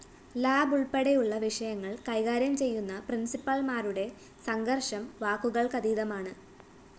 lab ഉള്‍പ്പെടെയുള്ള വിഷയങ്ങള്‍ കൈകാര്യം ചെയ്യുന്ന പ്രിന്‍സിപ്പാള്‍മാരുടെ സംഘര്‍ഷം വാക്കുകള്‍ക്കതീതമാണ്